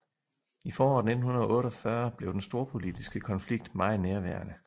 I foråret 1948 blev den storpolitiske konflikt meget nærværende